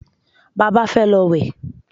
Bàbá fẹ́ lọ wẹ̀